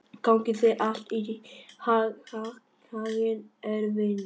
Gangi þér allt í haginn, Eirfinna.